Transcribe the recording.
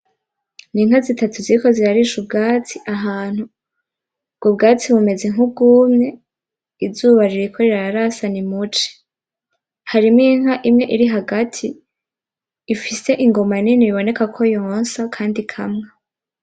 N'inka zitatu ziriko zirarisha ubwatsi ahantu, ubwo bwatsi bumeze nk'ubwumye , izuba ririko rirarasa ni muci, harimwo inka imwe iri hagati ifise ingoma nini biboneka ko yonsa kandi inkamwa .